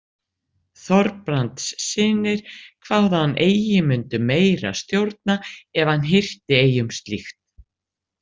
Þorbrandssynir kváðu hann eigi mundu meira stjórna ef hann hirti eigi um slíkt.